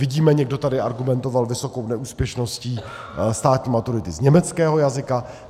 Vidíme - někdo tady argumentoval vysokou neúspěšností státní maturity z německého jazyka.